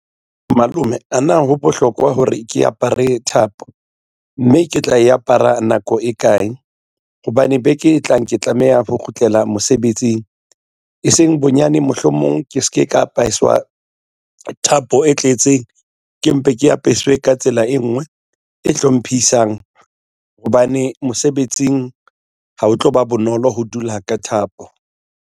Malome a na ho bohlokwa hore ke apare thapo, mme ke tla e apara nako e kae hobane beke e tlang ke tlameha ho kgutlela mosebetsing e seng bonyane mohlomong ke se ke ka apeswa thapo e tletseng ke mpe ke apeswe ka tsela e nngwe e hlomphisang hobane mosebetsing ha o tloba bonolo ho dula ka thapo.